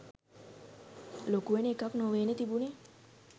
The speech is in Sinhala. ලොකුවෙන එකක් නොවේනේ තිබුණේ.